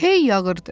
Hey yağırdı.